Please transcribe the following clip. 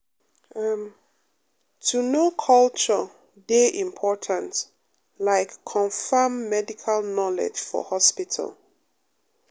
em — to um know culture um dey important like confam medical knowledge for hospital.